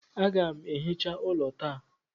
Aga m ehicha ụlọ taa